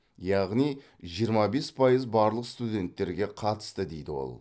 яғни жиырма бес пайыз барлық студенттерге қатысты дейді ол